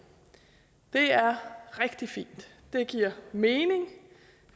det er rigtig fint det giver mening